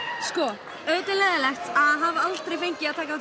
sko auðvitað er leiðinlegt að hafa aldrei fengið að taka